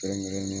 Kɛrɛnkɛrɛnnen